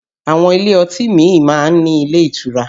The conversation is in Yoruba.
Àwọn ilé ọtí míì máa ń ní ilé ìtura